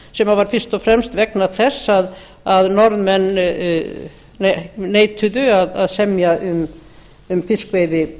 sem var fyrst og fremst vegna þess að norðmenn neituðu að semja um